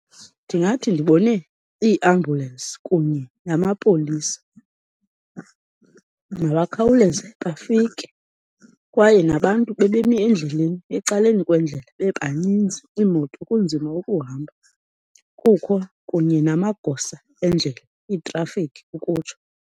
Ndingathi ndibone iiambhyulensi kunye namapolisa. Mabakhawuleze bafike, kwaye nabantu bebemi endleleni, ecaleni kwendlela bebaninzi, iimoto kunzima ukuhamba, kukho kunye namagosa endlela, iitrafiki ukutsho.